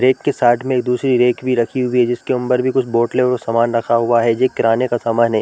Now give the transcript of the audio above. Rack के side में एक दुसरी रैक भी रखी हुई है जिसके ऊपर भी बोतले और समान रखा हुआ है जो किराने का समान हैं ।